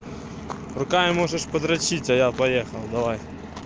руками можешь подрочить а я поехал давай